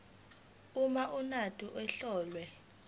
uma umuntu etholwe